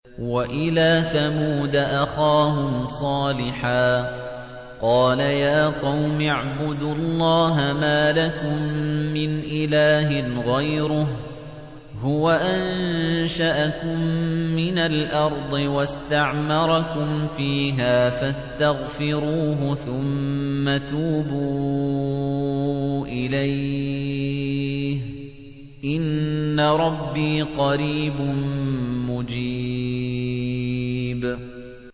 ۞ وَإِلَىٰ ثَمُودَ أَخَاهُمْ صَالِحًا ۚ قَالَ يَا قَوْمِ اعْبُدُوا اللَّهَ مَا لَكُم مِّنْ إِلَٰهٍ غَيْرُهُ ۖ هُوَ أَنشَأَكُم مِّنَ الْأَرْضِ وَاسْتَعْمَرَكُمْ فِيهَا فَاسْتَغْفِرُوهُ ثُمَّ تُوبُوا إِلَيْهِ ۚ إِنَّ رَبِّي قَرِيبٌ مُّجِيبٌ